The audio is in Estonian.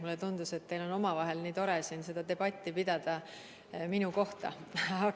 Mulle tundus, et teil on omavahel nii tore seda debatti minu kohta pidada.